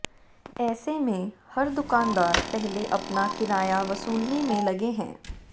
ऐसे में हर दुकानदार पहले अपना किराया वसूलने में लगे हैं